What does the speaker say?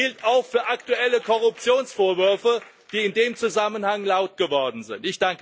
Das gilt auch für aktuelle Korruptionsvorwürfe, die in dem Zusammenhang laut geworden sind.